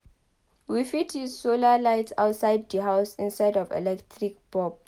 we fit use solar lights outside di house instead of electric bulb